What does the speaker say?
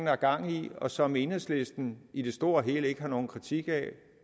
har gang i og som enhedslisten i det store og hele ikke har nogen kritik af